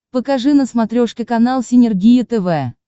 покажи на смотрешке канал синергия тв